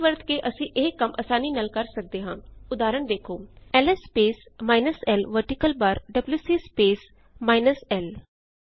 pipe ਵਰਤ ਕੇ ਅਸੀ ਇਹੀ ਕੰਮ ਆਸਾਨੀ ਨਾਲ ਕਰ ਸਕਦੇ ਹਾਂ ਉਦਾਹਰਣ ਦੇਖੋ L S space minus l vertical bar W C space minus l